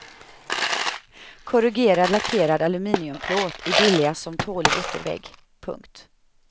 Korrugerad lackerad aluminiumplåt är billigast som tålig yttervägg. punkt